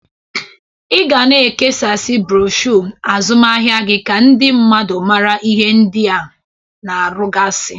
Ị ga na-ekesasi broshu azụmaahịa gị ka ndị mmadụ mara ihe ndị ị na-arụgasị.